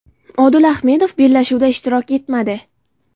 Odil Ahmedov bellashuvda ishtirok etmadi.